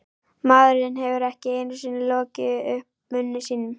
Maðurinn hefur ekki einu sinni lokið upp munni sínum.